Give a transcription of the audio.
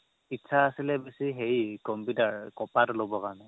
ইচ্ছা আছিলে বেচি হেৰি computer কপাৰতো ল'ব কাৰণে